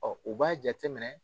u b'a jate minɛ